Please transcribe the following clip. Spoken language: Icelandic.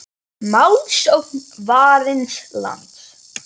Málsókn Varins lands